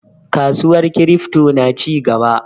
Kasuwar kiripto na cigaba.